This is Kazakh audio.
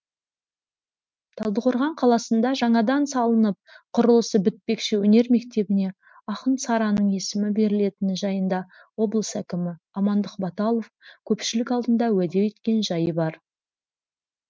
талдықорған қаласында жаңадан салынып құрылысы бітпекші өнер мектебіне ақын сараның есімі берілетіні жайында облыс әкімі амандық баталов көпшілік алдында уәде еткен жайы бар